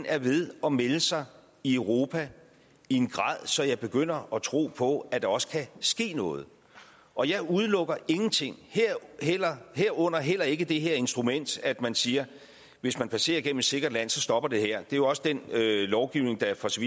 er ved at melde sig i europa i en grad så jeg begynder at tro på at der også kan ske noget og jeg udelukker ingenting herunder heller ikke det her instrument at man siger hvis man passerer gennem et sikkert land så stopper det her er jo også den lovgivning der for så